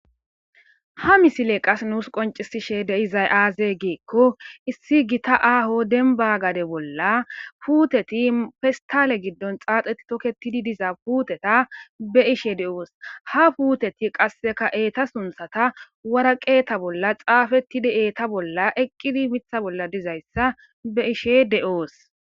ha misile qas nuus qoncisishe deizay aaze geekko issi gita aaho denba gade bolla puuteti pestale giddon xaaxeti tokketidi diza puteta be ishe de7oos ha puuteti qasseka eeta sunthata waraqeeta bolla xaafetidi eeta bolla eqqidi mitha bolla dizayssa be'ishe de'oos